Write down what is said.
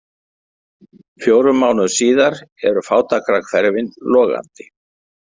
Fjórum mánuðum síðar eru fátækrahverfin logandi.